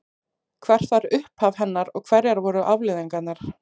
Hvert var upphaf hennar og hverjar voru afleiðingarnar?